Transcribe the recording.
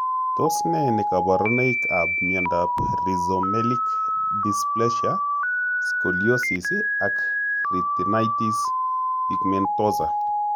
Tos ne kaborunoikab miondop rhizomelic dysplasia, scoliosis, ak retinitis pigmentosa?